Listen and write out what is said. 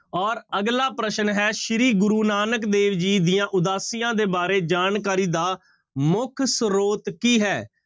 ਔਰ ਅਗਲਾ ਪ੍ਰਸ਼ਨ ਹੈ ਸ੍ਰੀ ਗੁਰੁ ਨਾਨਕ ਦੇ ਜੀ ਦੀਆਂ ਉਦਾਸੀਆਂ ਦੇ ਬਾਰੇ ਜਾਣਕਾਰੀ ਦਾ ਮੁੱਖ ਸਰੋਤ ਕੀ ਹੈ?